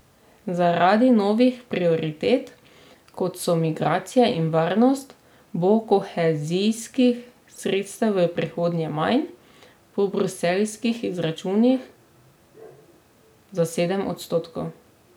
Zaradi novih prioritet, kot so migracije in varnost, bo kohezijskih sredstev v prihodnje manj, po bruseljskih izračunih za sedem odstotkov.